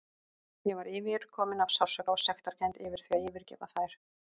Ég var yfirkomin af sársauka og sektarkennd yfir því að yfirgefa þær.